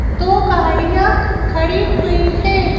दो गाड़ियाँ खड़ी हुई हैं।